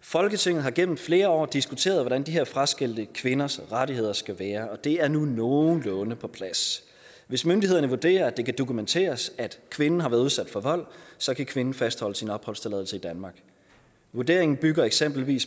folketinget har gennem flere år diskuteret hvordan de her fraskilte kvinders rettigheder skal være og det er nu nogenlunde på plads hvis myndighederne vurderer at det kan dokumenteres at kvinde har været udsat for vold så kan kvinden fastholde sin opholdstilladelse i danmark vurderingen bygger eksempelvis